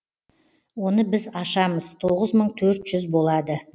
оны біз ашамыз тоғыз мың төрт жүз болады